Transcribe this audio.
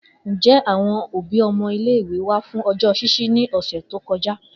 Njẹ awọn obi ọmọ ile-iwe wa fun ọjọ ṣiṣi ni ọsẹ to kọja?